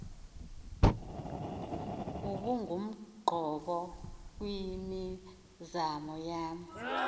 ubungumqobo kwimizamo yam